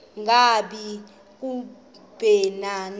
ngaba kubleni na